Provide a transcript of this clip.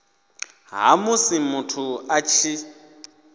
ha musi muthu a tshi